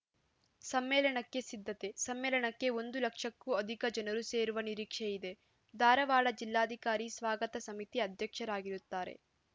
ಸಮ್ಮೇಳನಕ್ಕೆ ಸಿದ್ಧತೆ ಸಮ್ಮೇಳನಕ್ಕೆ ಒಂದು ಲಕ್ಷಕ್ಕೂ ಅಧಿಕ ಜನರು ಸೇರುವ ನಿರೀಕ್ಷೆ ಇದೆ ಧಾರವಾಡ ಜಿಲ್ಲಾಧಿಕಾರಿ ಸ್ವಾಗತ ಸಮಿತಿ ಅಧ್ಯಕ್ಷರಾಗಿರುತ್ತಾರೆ